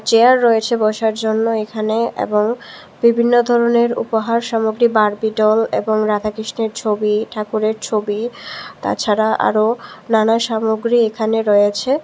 Chair রয়েছে বসার জন্য এখানে এবং বিভিন্ন ধরনের উপহার সামগ্রী বার্বি ডল এবং রাধাকৃষ্ণের ছবি ঠাকুরের ছবি তাছাড়া আরো নানা সামগ্রী এখানে রয়েছে।